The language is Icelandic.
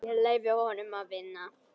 Ég leyfi honum að vinna.